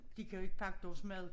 De kan jo ikke pakke deres mad